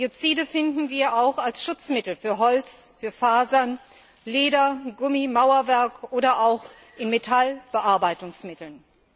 Biozide finden wir auch als Schutzmittel für Holz, für Fasern, Leder, Gummi, Mauerwerk oder auch in Metallbearbeitungsmitteln.